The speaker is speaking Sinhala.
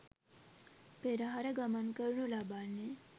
පෙරහර ගමන් කරනු ලබන්නේ